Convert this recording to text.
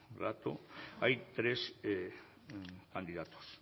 rato hay tres candidatos